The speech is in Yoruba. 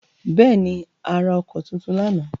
Bẹ́ẹ̀ ni, a ra ọkọ́ tuntun lánàá.